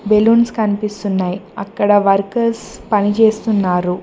Balloons కనిపిస్తున్నాయ్ అక్కడ workers పనిచేస్తున్నారు.